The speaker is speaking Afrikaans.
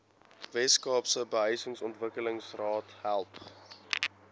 weskaapse behuisingsontwikkelingsraad help